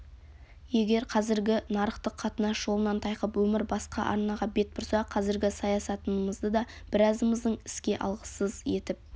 егер қазіргі нарықтық қатынас жолынан тайқып өмір басқа арнаға бет бұрса қазіргі саясатымызды да біразымыздың іске алғысыз етіп